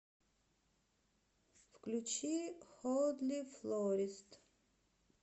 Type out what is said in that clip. включи холдли флорист